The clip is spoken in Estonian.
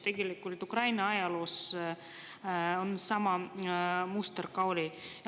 Tegelikult Ukraina ajaloos on olnud sama muster.